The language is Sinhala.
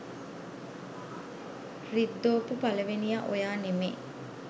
රිද්දෝපු පළවෙනියා ඔයා නෙමේ.